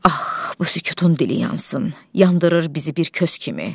Ax, bu sükutun dili yansın, yandırır bizi bir kös kimi.